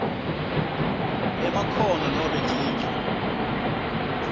emakhono nobe ticu